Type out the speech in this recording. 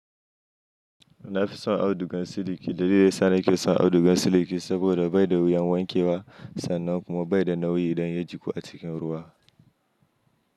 Na fi son audugan siliki. Dalili da ya sa nake son audugan siliki saboda bai da wuyan wankewa sannan kuma bai da nauyi idan ya jiƙu a cikin ruwa.